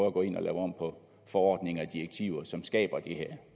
at gå ind og lave om på forordninger og direktiver som skaber det her